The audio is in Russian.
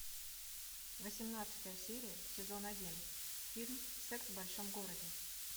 восемнадцатая серия сезон один фильм секс в большом городе